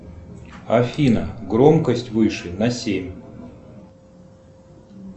афина громкость выше на семь